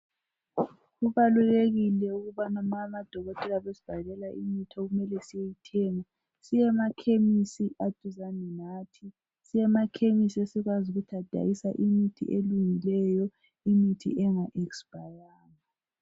Kubalulekile ukubana nxa amadokotela esibhalela imithi okumele siyeyithenga siye emakhemisi aseduzane lathi siyemakhemisi esazi ukuthi athengisa imithi elungileyo imithi engakadlulelwa ngamalanga.